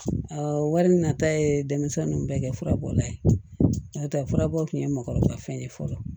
wari min nata ye denmisɛn ninnu bɛɛ kɛ furabɔla ye n'o tɛ furabɔ kun ye mɔɔkɔrɔba fɛn ye fɔlɔ